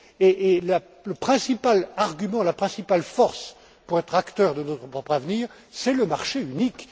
Et le principal argument, la principale force pour être acteurs de notre propre avenir, c'est le marché unique.